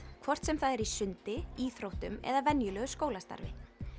hvort sem það er í sundi íþróttum eða venjulegu skólastarfi